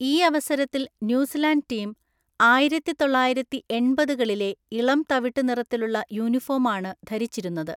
ഈ അവസരത്തിൽ New Zealand team ആയിരത്തിതൊള്ളായിരത്തിഎണ്‍പതുകളിലെ ഇളം തവിട്ടു നിറത്തിലുള്ള യൂണിഫോമാണ് ധരിച്ചിരുന്നത്.